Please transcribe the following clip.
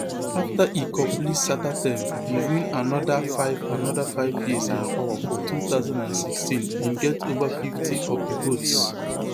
afta e complete sata term e win anoda five anoda five years in power for two thousand and sixteen e get ova fifty of di votes